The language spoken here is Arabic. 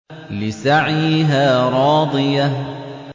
لِّسَعْيِهَا رَاضِيَةٌ